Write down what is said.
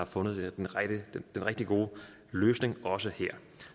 fundet den rigtig gode løsning også her